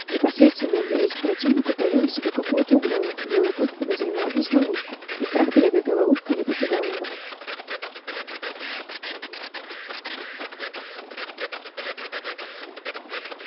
непосредственная близость к противнику таила в себе какую то угрозу белый клык подозревал здесь ловушку и страх перед этой ловушкой не покидал его